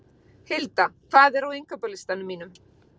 Hilda, hvað er á innkaupalistanum mínum?